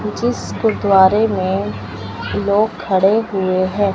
जिस गुरुद्वारा में लोग खड़े हुए है।